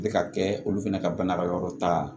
Bɛ ka kɛ olu fana ka bana ka yɔrɔ ta